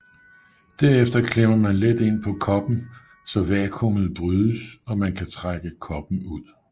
Derefter klemmer man let ind på koppen så vakuumet brydes og man kan trække koppen ud